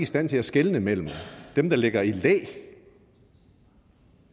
stand til at skelne mellem dem der ligger i læ